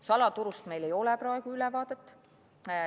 Salaturust meil ei ole praegu ülevaadet.